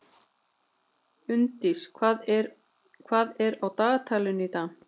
Unndís, hvað er á dagatalinu í dag?